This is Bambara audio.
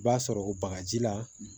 I b'a sɔrɔ o bagaji la